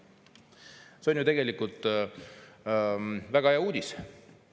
See on ju tegelikult väga hea uudis.